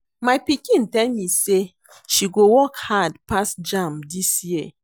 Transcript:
My pikin tell me say she go work hard pass jamb dis year